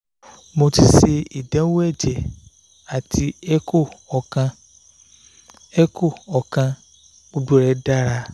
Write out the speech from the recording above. mo ti se idanwo eje ati echo okan echo okan gbogbo re dara